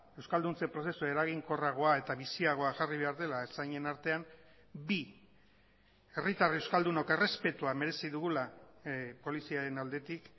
euskalduntze prozesu eraginkorragoa eta biziagoa jarri behar dela ertzainen artean bi herritar euskaldunok errespetua merezi dugula poliziaren aldetik